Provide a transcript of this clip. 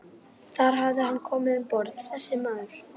Þar hafði hann komið um borð, þessi maður.